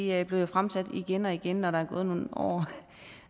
er blevet fremsat igen og igen når der er gået nogle år